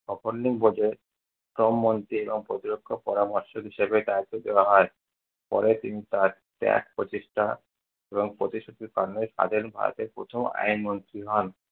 শ্রমমন্ত্রী এবং প্রতিরক্ষা পরামর্শক হিসাবে দ্বায়িত্ব দেয়া হয়। পরে তিনি তার ত্যাগ, প্রচেষ্টা এবং প্রতিশ্রুতির প্রথম আইন মন্ত্রী হন।